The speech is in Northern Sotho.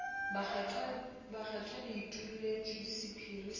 bakgethwa le utolletšwe sephiri sa